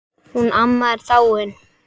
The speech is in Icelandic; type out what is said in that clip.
Hún amma er dáin.